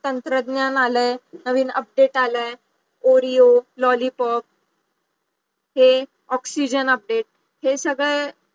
तंत्रज्ञान आलाय नवीन update आलाय orio lolypop हे oxygen update हे सगळे